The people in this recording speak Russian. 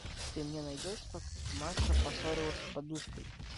ты мне найдешь как маша поссорилась с подушкой